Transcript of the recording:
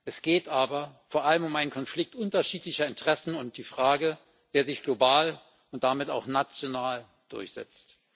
Es geht aber vor allem um einen Konflikt unterschiedlicher Interessen und die Frage, wer sich global und damit auch national durchsetzt.